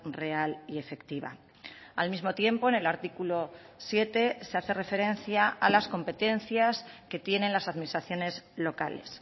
real y efectiva al mismo tiempo en el artículo siete se hace referencia a las competencias que tienen las administraciones locales